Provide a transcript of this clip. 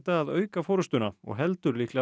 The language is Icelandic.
að auka forystuna og heldur líklega